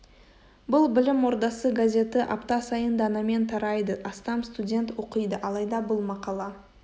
бұл білім ордасы газеті апта сайын данамен тарайды астам студент оқиды алайда бұл мақала